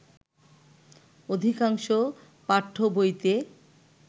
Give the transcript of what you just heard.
অধিকাংশ পাঠ্যবইতে